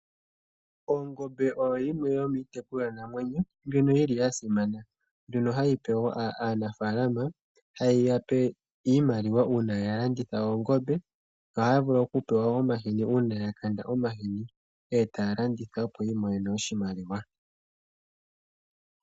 Ongombe oyo yimwe yomiitekulwanamwenyo, ndjono yili yasimana. Ohayi gandja iimaliwa kaanafalama, uuna ya landitha oongombe, nohaya vulu wo okupewa omahini uuna yakakanda omahini, e taya landitha opo yi imonene oshimaliwa.